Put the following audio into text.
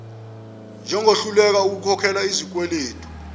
njengohluleka ukukhokhela izikweledu